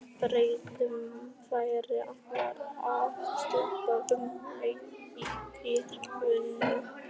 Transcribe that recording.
Bráðum færu allir að steypa upp leiðin í kirkjugarðinum.